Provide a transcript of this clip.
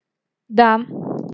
да